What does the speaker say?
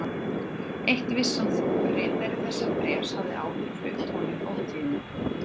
Eitt vissi hann þó: ritari þessa bréfs hafði áður flutt honum ótíðindi.